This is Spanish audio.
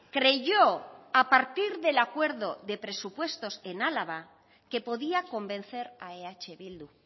creyó a partir del acuerdo de presupuestos en álava que podía convencer a eh bildu